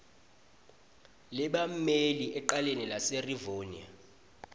lebammeli ecaleni laserivonia